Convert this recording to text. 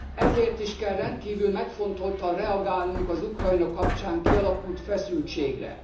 Ezért is kell rendkívül megfontoltan reagálnunk az Ukrajna kapcsán kialakult feszültségre.